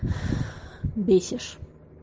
бесишь